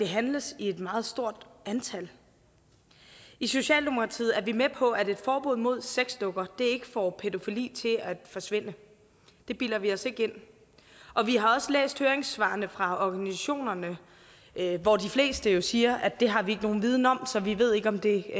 handles i et meget stort antal i socialdemokratiet er vi med på at et forbud mod sexdukker ikke får pædofili til at forsvinde det bilder vi os ikke ind og vi har også læst høringssvarene fra organisationerne hvor de fleste jo siger at det har de ikke nogen viden om så de ved ikke om det